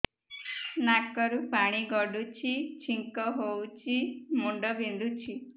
ନାକରୁ ପାଣି ଗଡୁଛି ଛିଙ୍କ ହଉଚି ମୁଣ୍ଡ ବିନ୍ଧୁଛି